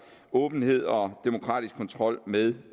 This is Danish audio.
åbenhed og demokratisk kontrol med